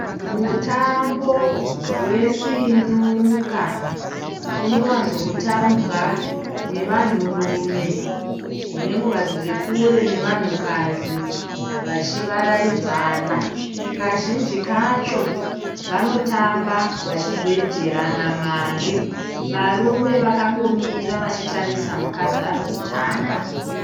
Mutambo wesinuka unowanzo kutambwa nevanhurume nenguva dziri kure nevanhukadzi vachivaraidzana. Kazhinji kacho vanotamba vachibhejerana mari. Varume vakangomira vachitarisa mukadzi ari kutamba.